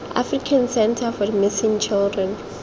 african centre for missing children